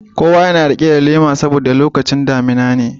Kowa yana rike da lema saboda lokacin damina ne.